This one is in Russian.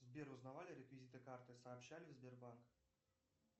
сбер узнавали реквизиты карты сообщали в сбербанк